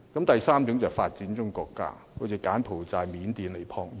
第三個層次是發展中國家，例如柬埔寨、緬甸、尼泊爾。